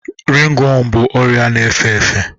Ringworms bụ ọrịa na-efe efe